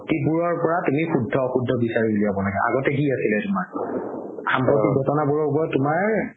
যিবোৰৰ পৰা তুমি সুধ্য অসুধ্য বিচাৰি উলাব লগে আগতে কি আছিলে তুমাৰ সাম্প্ৰতিক ঘটনা বোৰৰ ওপৰত তুমাৰ